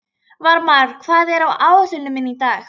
Varmar, hvað er á áætluninni minni í dag?